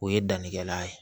O ye dannikɛla ye